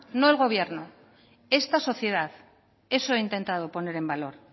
no el gobierno esta sociedad eso he intentado poner en valor